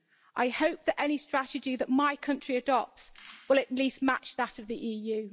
I hope that any strategy that my country adopts will at least match that of the EU.